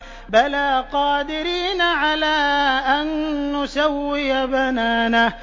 بَلَىٰ قَادِرِينَ عَلَىٰ أَن نُّسَوِّيَ بَنَانَهُ